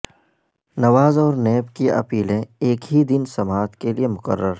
نواز اور نیب کی اپیلیں ایک ہی دن سماعت کیلئے مقرر